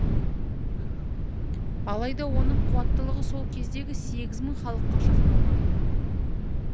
алайда оның қуаттылығы сол кездегі сегіз мың халыққа шақталған